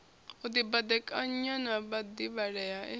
u dibadekanya na vhadivhalea e